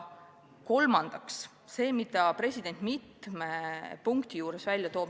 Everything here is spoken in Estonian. Kolmandaks sellest, millele president mitmes punktis viitab.